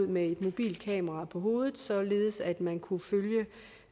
med et mobilt kamera på hovedet således at man kunne